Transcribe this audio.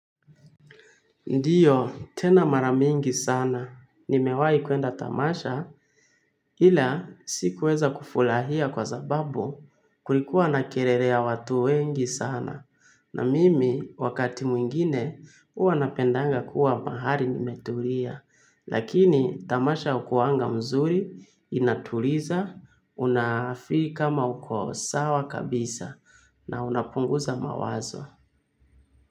Ndiyo, tena mara mingi sana. Nimewai kuenda. Tamasha ila sikuweza kufurahia kwa sababu kulikuwa na kelele ya watu wengi sana. Na mimi, wakati mwingine, huwa napendanga kuwa mahali nimetulia. Lakini tamasha hukuwanga mzuri, inatuliza, unafeel kama uko sawa kabisa na unapunguza mawazo.